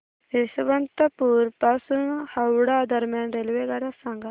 यशवंतपुर पासून हावडा दरम्यान रेल्वेगाड्या सांगा